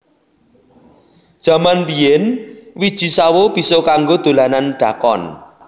Jaman biyen wiji sawo bisa kanggo dolanan dakon